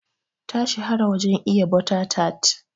Ta shahara wajen iya butter tart.